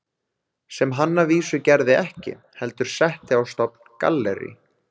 Sem hann að vísu gerði ekki, heldur setti á stofn gallerí